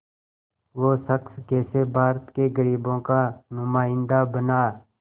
वो शख़्स कैसे भारत के ग़रीबों का नुमाइंदा बना